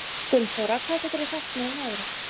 Gunnþóra, hvað geturðu sagt mér um veðrið?